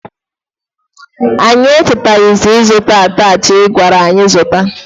Anyị echetazighi ịzụta atachi i gwara anyị zụta.